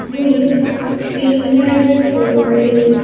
With fingers holding.